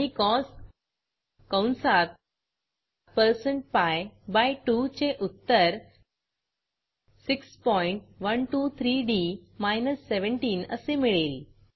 आणि सीओएस कंसात percent pi by 2 चे उत्तर 6123डी 17 असे मिळेल